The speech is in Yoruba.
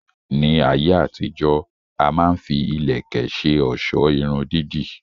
Ní ayé àtijó, a má ń fi ìlẹ̀kẹ̀ ṣe ọ̀sọ́ Irun dídì